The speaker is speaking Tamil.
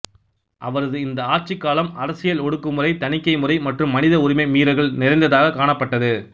அவரது இந்த ஆட்சிக் காலம் அரசியல் ஒடுக்குமுறை தணிக்கை முறை மற்றும் மனித உரிமை மீறல்கள் நிறைந்ததாகக் காணப்பட்டது